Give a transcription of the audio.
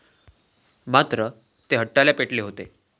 मात्र, ते हट्टाला पेटले होते.